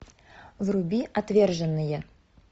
вруби отверженные